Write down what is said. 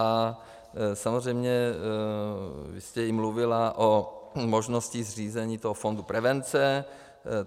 A samozřejmě jste i mluvila o možnosti zřízení toho fondu prevence.